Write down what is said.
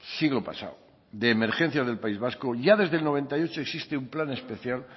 siglo pasado de emergencias del país vasco ya desde el noventa y ocho existe un plan especial